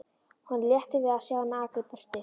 Honum létti við að sjá hana aka í burtu.